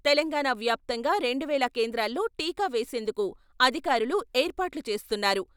తెలంగాణ వ్యాప్తంగా రెండు వేల కేంద్రాల్లో టీకా వేసేందుకు అధికారులు ఏర్పాట్లు చేస్తున్నారు.